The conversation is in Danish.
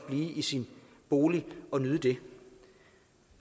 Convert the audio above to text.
blive i sin bolig og nyde det